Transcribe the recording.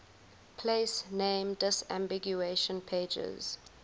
place name disambiguation pages